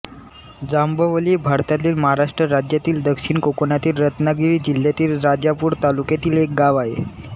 जांभवली हे भारतातील महाराष्ट्र राज्यातील दक्षिण कोकणातील रत्नागिरी जिल्ह्यातील राजापूर तालुक्यातील एक गाव आहे